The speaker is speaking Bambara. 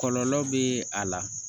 Kɔlɔlɔ bɛ a la